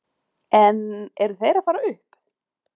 En eru þeir að fara upp?